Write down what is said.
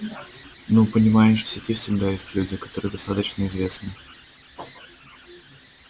ну понимаешь в сети всегда есть люди которые достаточно известны